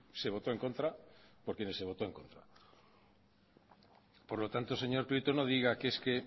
se votó en contra por quienes se votó en contra por lo tanto señor prieto no diga que es que